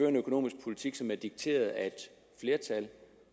en økonomisk politik som er dikteret af et flertal